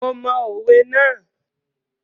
Mo mọ òwe ná.